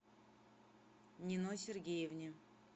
нино сергеевне